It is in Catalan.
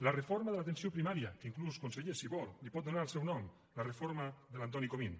la reforma de l’atenció primària que inclús conseller si vol li pot donar el seu nom la reforma de l’antoni comín